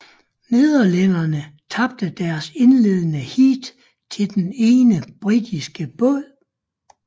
Nederlænderne tabte deres indledende heat til den ene britiske båd